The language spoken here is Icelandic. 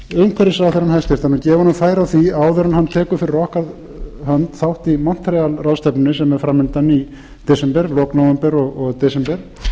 umhverfisráðherra og gef honum færi á því áður en hann tekur fyrir okkar hönd þátt í montreal ráðstefnunni sem er framundan í lok nóvember og í desember